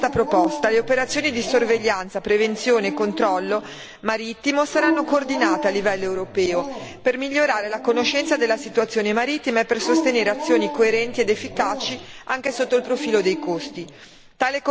Grazie a questa proposta le operazioni di sorveglianza, prevenzione e controllo marittimo saranno coordinate a livello europeo, per migliorare la conoscenza della situazione marittima e per sostenere azioni coerenti ed efficaci anche sotto il profilo dei costi.